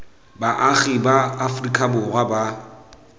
baagi ba aferika borwa ba